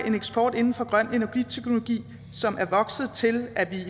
en eksport inden for grøn energiteknologi som er vokset til at vi